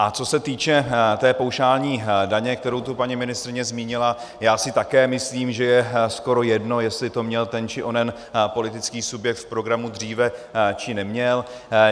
A co se týče té paušální daně, kterou tu paní ministryně zmínila, já si také myslím, že je skoro jedno, jestli to měl ten či onen politický subjekt v programu dříve či neměl.